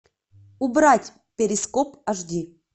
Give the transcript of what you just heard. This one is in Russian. убрать перископ аш ди